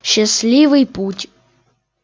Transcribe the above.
счастливый путь